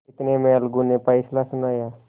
इतने में अलगू ने फैसला सुनाया